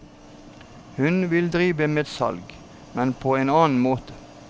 Hun ville drive med salg, men på en annen måte.